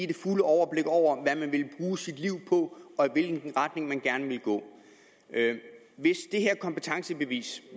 det fulde overblik over hvad man ville bruge sit liv på og i hvilken retning man gerne ville gå hvis det her kompetencebevis